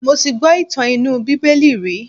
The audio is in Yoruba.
Mo ti gbọ́ ìtàn inú bíbélì rí.